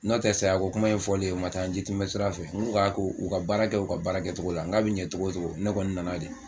N'o tɛ sayako kuma in fɔlen u man taa n jitɛmɛ sira fɛ n k'u ka ko u ka baara kɛ u ka baara kɛcogo la n k'a bɛ ɲan cogo o cogo ne kɔni nana de.